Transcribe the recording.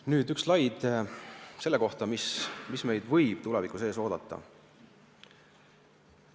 Nüüd on siin üks slaid selle kohta, mis võib meid tulevikus ees oodata.